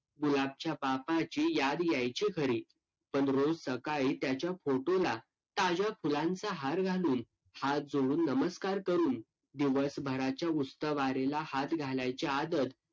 Bank मध्ये गेलं का paper द्यावे लागत ते आणि ते form करून आपल्याला ‌